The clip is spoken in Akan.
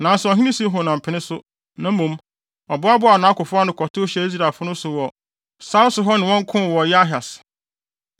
Nanso ɔhene Sihon ampene so. Na mmom, ɔboaboaa nʼakofo ano kɔtow hyɛɛ Israelfo no so wɔ sare so hɔ ne wɔn koo wɔ Yahas.